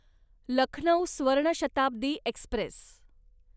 Lucknow Swarna Shatabdi Express